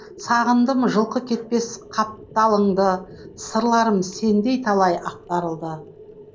сағындым жылқы кетпес қапталыңды сырларым сенде талай ақтарылды